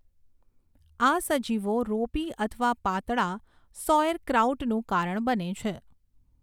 આ સજીવો રોપી અથવા પાતળા સૌઍરક્રાઉટનું કારણ બને છે.